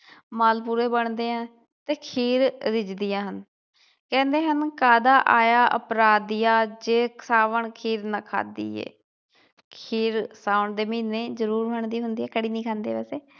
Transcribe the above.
ਮਾਲ ਪੂੜੇ ਬਣਦੇ ਆ ਤੇ ਖੀਰ ਰਿਜਦੀਆ ਹਨ ਕਹਿੰਦੇ ਹਨ ਕਾਹਦਾ ਆਇਆ ਅਪਰਾਧੀਆਂ ਜੇ ਸਾਵਣ ਖੀਰ ਨਾ ਖਾਧੀ ਏ ਖੀਰ ਸਾਉਣ ਦੇ ਮਹੀਨੇ ਜਰੂਰ ਬਣਦੀ ਹੁੰਦੀ ਏ ਕਈ ਨਹੀਂ ਖਾਂਦੇ ਵੈਸੇ